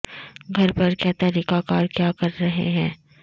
گھر پر کیا طریقہ کار کیا کر رہے ہیں